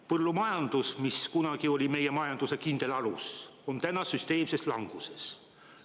Põllumajandus, mis kunagi oli meie majanduse kindel alus, on täna süsteemses languses.